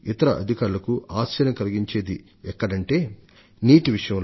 ఈ విధంగా చూసినపుడు నీరు పర్యావరణం దుర్బిక్షాన్ని ఎదుర్కోవడంలో బాధిత జంతువుల పట్ల అలాగే